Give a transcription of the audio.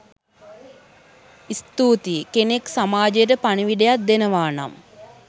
ස්තුතියි෴ කෙනෙක් සමාජයට පනිවිඩයක් දෙනවා නම්